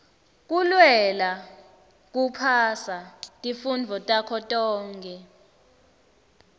kulwela kuphasa tifundvo takho tonkhe